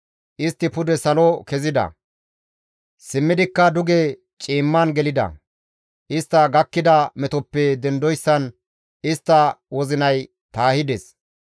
Istti pude salo kezida; simmidikka duge ciimman gelida; istta gakkida metoppe dendoyssan istta wozinay taahides.